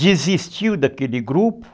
desistiu daquele grupo.